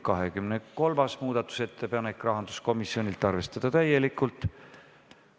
23. muudatusettepanek, rahanduskomisjonilt, arvestada täielikult.